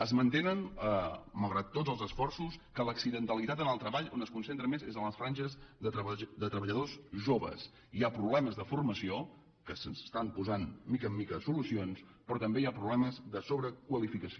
es manté malgrat tots els esforços que l’accidentalitat en el treball on es concentra més és en les franges de treballadors joves hi ha problemes de formació als quals s’estan posant mica en mica solucions però també hi ha problemes de sobrequalificació